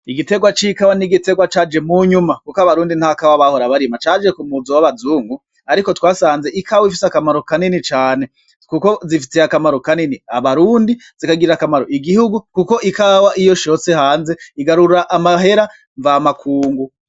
Igitegwa c'ikawa n'igitegwa caje mu nyuma kuko abarundi nta kawa bahora barima, caje ku muzo w'abazungu, ariko twasanze ikawa ifise akamaro kanini cane, kuko zifitiye akamaro kanini abarundi, zikagirira akamaro igihugu, kuko ikawa iyo ishotse hanze igarura amahera mvamakungu.